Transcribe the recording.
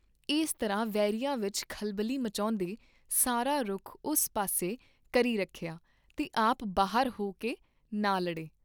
ਇਸ ਤਰ੍ਹਾਂ ਵੈਰੀਆਂ ਵਿਚ ਖਲਬਲੀ ਮਚਾਉਂਦੇ ਸਾਰਾ ਰੁਖ ਉਸ ਪਾਸੇ ਕਰੀ ਰੱਖਿਆ ਤੇ ਆਪ ਬਾਹਰ ਹੋ ਕੇ ਨਾ ਲੜੇ।